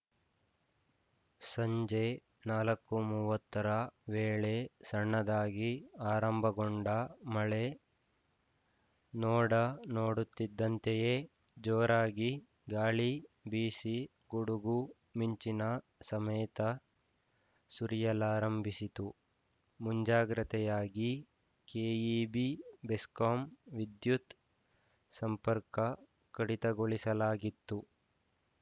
ಸಂಜೆ ನಾಲ್ಕು ಮುವತ್ತರ ವೇಳೆ ಸಣ್ಣದಾಗಿ ಆರಂಭಗೊಂಡ ಮಳೆ ನೋಡ ನೋಡುತ್ತಿದ್ದಂತೆಯೇ ಜೋರಾಗಿ ಗಾಳಿ ಬೀಸಿ ಗುಡುಗುಮಿಂಚಿನ ಸಮೇತ ಸುರಿಯಲಾರಂಭಿಸಿತು ಮುಂಜಾಗ್ರತೆಯಾಗಿ ಕೆಇಬಿ ಬೆಸ್ಕಾಂ ವಿದ್ಯುತ್‌ ಸಂಪರ್ಕ ಕಡಿತಗೊಳಿಸಲಾಗಿತ್ತು